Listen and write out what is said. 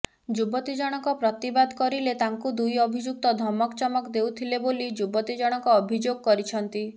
ଯୁବତୀଜଣକ ପ୍ରତିବାଦ କରିଲେ ତାଙ୍କୁ ଦୁଇ ଅଭିଯୁକ୍ତ ଧମକଚମକ ଦେଉଥିଲେ ବୋଲି ଯୁବତୀ ଜଣକ ଅଭିଯୋଗ କରିଛନ୍ତି